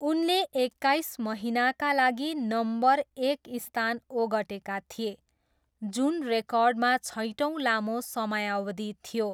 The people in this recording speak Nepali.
उनले एक्काइस महिनाका लागि नम्बर एक स्थान ओगटेका थिए, जुन रेकर्डमा छैटौँ लामो समयावधि थियो।